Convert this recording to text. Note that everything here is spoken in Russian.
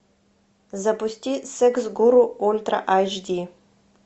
запусти секс гуру ультра айч ди